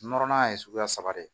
Nɔrɔnan ye suguya saba de ye